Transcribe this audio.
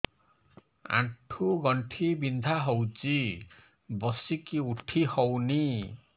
ଆଣ୍ଠୁ ଗଣ୍ଠି ବିନ୍ଧା ହଉଚି ବସିକି ଉଠି ହଉନି